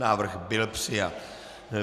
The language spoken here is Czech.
Návrh byl přijat.